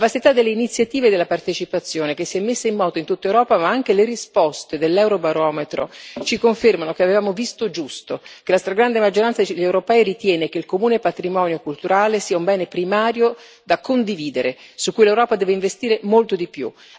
La vastità delle iniziative e della partecipazione che si sono messe in moto in tutta Europa, ma anche le risposte dell'Eurobarometro, ci confermano che avevamo visto giusto, che la stragrande maggioranza degli europei ritiene che il comune patrimonio culturale sia un bene primario da condividere, su cui l'Europa deve investire molto di più.